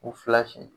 U fila si